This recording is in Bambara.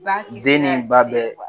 Ba kisira den ni ba bɛɛ